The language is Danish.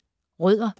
Rødder